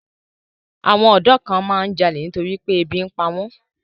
Àwọn ọ̀dọ́ kan máa ń jalè nítorí pé ebi ń pa wọ́n.